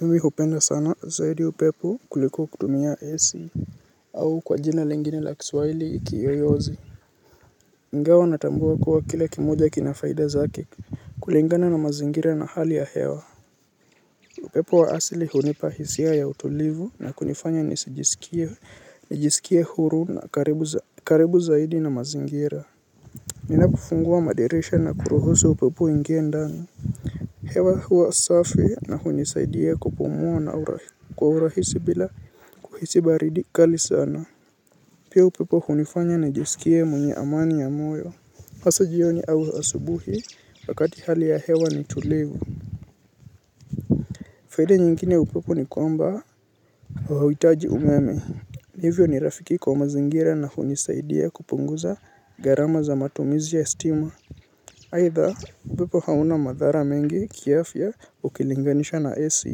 Mimi hupenda sana zaidi upepo kuliko kutumia AC. Au kwa jina lengine la kiswaili kiyoyozi. Ingawa natambua kuwa kila kimija kina faida zake. Kulingana na mazingira na hali ya hewa. Upepo wa asili hunipa hisia ya utulivu na kunifanya nijisikie huru na karibu zaidi na mazingira. Bina kufungua madirisha na kuruhusu upepo uingie ndani hewa huwa safi na hunisaidia kupumua na urahisi bila kuhisi baridi kali sana. Pia upepo hunifanya nijisikie mwenye amani ya moyo. Hasa jioni au asubuhi wakati hali ya hewa ni tulivu. Faida nyingine ya upepo ni kwamba hauhitaji umeme. Hivyo ni rafiki kwa mazingira na hunisaidia kupunguza gharama za matumizi ya stima. Aaihha, upepo hauna madhara mengi kiafya ukilinganisha na Ac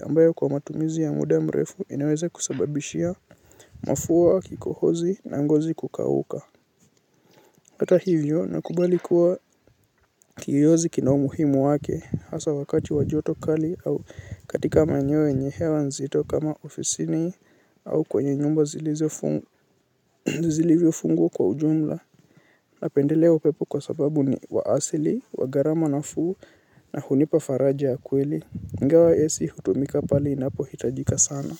ambayo kwa matumizi ya muda mrefu inaweze kusababishia mafua kikohozi na ngozi kukauka. Hata hivyo nakubali kuwa kiyoyozi kina umuhimu wake, hasa wakati wa joto kali au katika maeneo yenye hewa nzito kama ofisini au kwenye nyumba zilivyofungwa kwa ujumla napendelea upepo kwa sababu ni wa asili, wa garama nafuu na hunipa faraja ya kweli. Ingawa ACi hutumika pale inapohitajika sana.